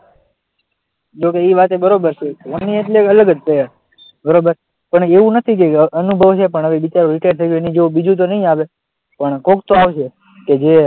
જોકે એ વાત પણ બરાબર છે, ધોની એટલે અલગ જ છે બરાબર, પણ એવું નથી કે અનુભવ છે પણ હવે બિચારો રિટાયર્ડ થઈ ગયો એની જેવુ બીજું તો નહીં આવે પણ કોક તો આવશે. કે જે,